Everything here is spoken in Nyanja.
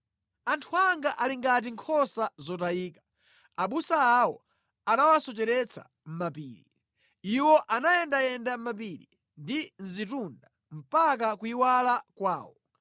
“Anthu anga ali ngati nkhosa zotayika; abusa awo anawasocheretsa mʼmapiri. Iwo anayendayenda mʼmapiri ndi mʼzitunda mpaka kuyiwala kwawo.